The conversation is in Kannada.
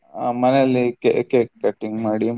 ಹ ಮನೇಲಿ ca~ cake cutting ಮಾಡಿ.